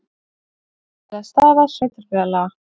Alvarleg staða sveitarfélaga